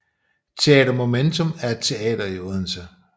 Teater Momentum er et teater i Odense